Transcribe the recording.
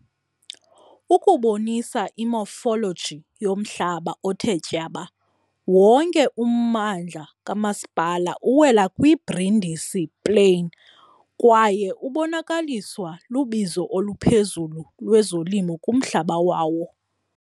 Ukubonisa i-morphology yomhlaba othe tyaba, wonke ummandla kamasipala uwela kwi-Brindisi Plain kwaye ubonakaliswa lubizo oluphezulu lwezolimo kumhlaba wawo.